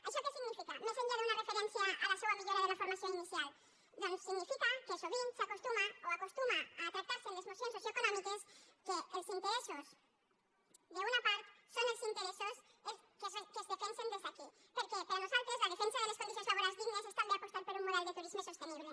això què significa més enllà d’una referència a la seua millora de la formació inicial doncs significa que sovint s’acostuma o acostuma a tractar se en les mocions socioeconòmiques que els interessos d’una part són els interessos que es defensen des d’aquí perquè per a nosaltres la defensa de les condicions laborals dignes és també apostar per un model de turisme sostenible